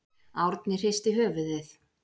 Árni hristi höfuðið.